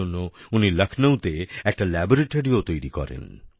এর জন্য উনি লখনউ তে একটা ল্যাবরেটরিও তৈরি করেন